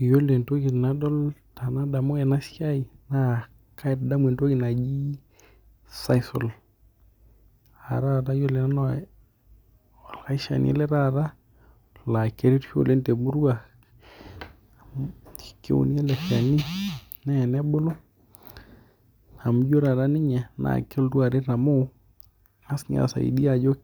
Iyiolo entoki najo nanu tenadamu ena siai naa,,Katadamu entoki naji sisal amuu ore nayiolo naishani ele naa keretisho oleng' temurua keuni ele shani naa tenabulu amu ijo taata ninye kelotu aret amuu kengas naa aisaidia ajoo